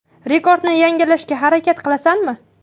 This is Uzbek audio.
Rekordni yangilashga harakat qilasanmi?